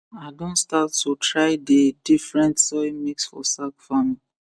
i don start to try dey different soil mix for sack farming